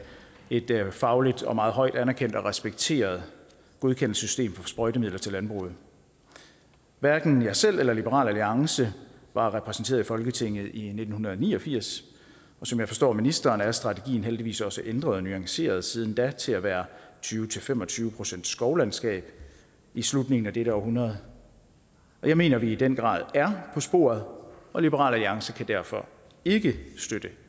et fagligt og meget højt anerkendt og respekteret godkendelsessystem for sprøjtemidler til landbruget hverken jeg selv eller liberal alliance var repræsenteret i folketinget i nitten ni og firs og som jeg forstår ministeren er strategien heldigvis også ændret og nuanceret siden da til at være tyve til fem og tyve procent skovlandskab i slutningen af dette århundrede jeg mener at vi i den grad er på sporet og liberal alliance kan derfor ikke støtte